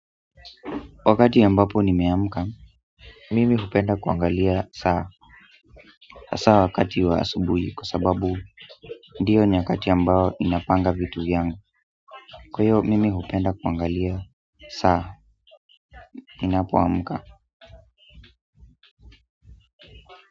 Wakati ambapo nimeamka mimi hupenda kuangalia saa, hasa wakati wa asubuhi kwa sababu ndiyo nyakati ambao napanga vitu vyangu, kwa hiyo mimi hupenda kuangalia saa ninapoamka.